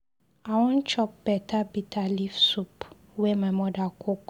I wan chop better bitter leaf soup wey my mother cook.